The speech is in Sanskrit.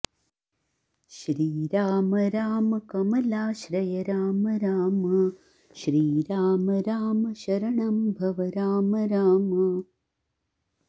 श्रीराम राम कमलाश्रय राम राम श्रीराम राम शरणं भव राम राम